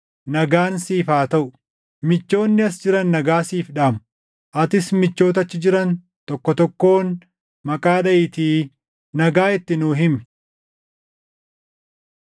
Nagaan siif haa taʼu. Michoonni as jiran nagaa siif dhaamu. Atis michoota achi jiran tokko tokkoon maqaa dhaʼiitii nagaa itti nuu himi.